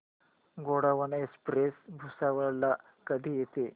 Gondwana express Bhusawal ला कधी येते